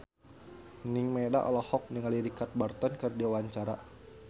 Nining Meida olohok ningali Richard Burton keur diwawancara